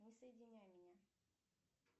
не соединяй меня